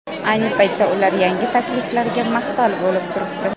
Ayni paytda ular yangi takliflarga mahtal bo‘lib turibdi.